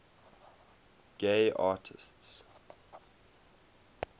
gay artists